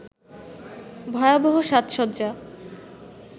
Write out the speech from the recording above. ভয়াবহ সাজসজ্জা